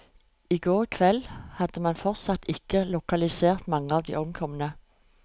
I går kveld hadde man fortsatt ikke lokalisert mange av de omkomne.